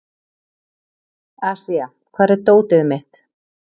Asía, hvar er dótið mitt?